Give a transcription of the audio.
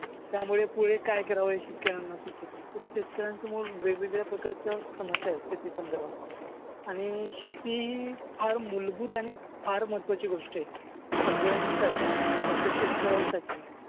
त्यामुळे पुढे काय करावे हे शेतकर्‍यांना सुचत नाही. शेतकर्‍यांसमोर वेगवेगळ्या प्रकारच्या समस्या आहेत शेती संदर्भात आणि शेती फार मूलभूत आणि फार महत्वाची गोष्ट आहे. सगळ्यांसाठी फक्त शेतकर्‍यांसाठी नाही.